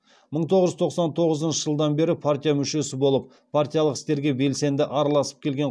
мың тоғыз жүз тоқсан тоғызыншы жылдан бері партия мүшесі болып партиялық істерге белсенді араласып келген